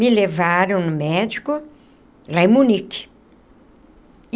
Me levaram no médico, lá em Munique.